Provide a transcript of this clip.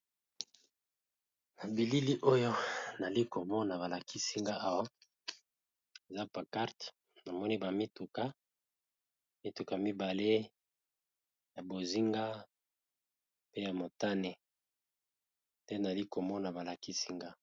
Na bilili oyo nazalikomona balakisinga Awa eza panquarte namoni ba mituka mibale ya bonzinga pe ya motani nde balakisi ngai.